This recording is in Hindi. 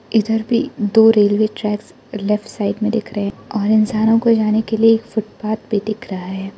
इधर भी दो रेलवे ट्रैक लेफ्ट साइड में दिख रहे हैं और इंसानों को जाने के लिए एक फुटपाथ भी दिख रहा है।